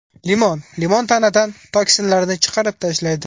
Limon Limon tanadan toksinlarni chiqarib tashlaydi.